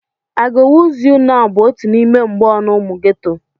"I go wooz you nau!" bụ otu n'ime mgboonu ụmụ geto.